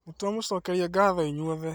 Nĩtwamũcokeria gatho inyuothe